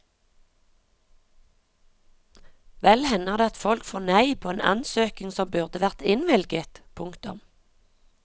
Vel hender det at folk får nei på en ansøkning som burde vært innvilget. punktum